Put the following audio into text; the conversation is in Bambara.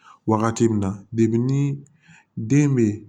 Wagati min na ni den bɛ